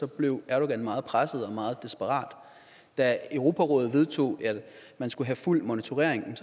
blev erdogan meget presset og meget desperat da europarådet vedtog at man skulle have fuld monitorering